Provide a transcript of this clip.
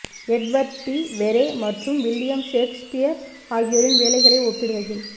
Edward de Vere மற்றும் William Shakespeare ஆகியோரின் வேலைகளை ஒப்பிடுகையில்